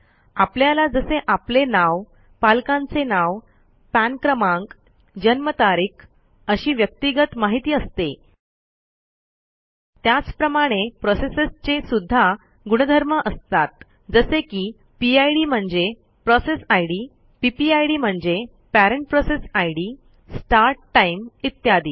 आपल्याला जसे आपले नाव पालकांचे नाव पान क्रमांक जन्मतारीख अशी व्यक्तिगत माहिती असते त्याचप्रमाणे प्रोसेसेसचे सुध्दा गुणधर्म असतात जसे की पिड म्हणजे पीपीआयडी म्हणजे स्टार्ट टाइम इत्यादी